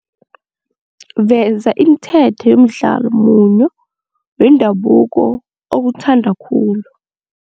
Veza imithetho yomdlalo munyo wendabuko owuthanda khulu.